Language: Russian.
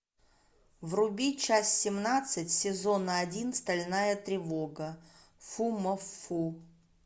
вруби часть семнадцать сезон один стальная тревога фумоффу